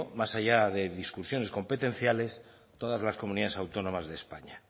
más allá de discusiones competenciales todas las comunidades autónomas de españa